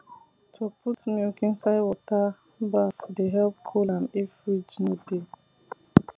to put milk inside water bath dey help cool am if fridge no dey